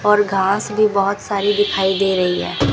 और घास भी बहोत सारी दिखाई दे रही है।